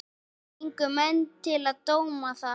Gengu menn til dóma þar.